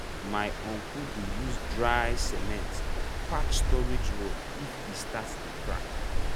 my uncle dey use dry cement patch storage wall if e start to dey crack.